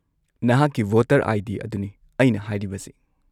-ꯅꯍꯥꯛꯀꯤ voter ID. ꯑꯗꯨꯅꯤ ꯑꯩꯅ ꯍꯥꯏꯔꯤꯕꯁꯤ꯫